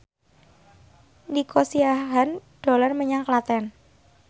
Nico Siahaan dolan menyang Klaten